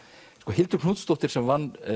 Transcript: Hildur Knútsdóttir sem vann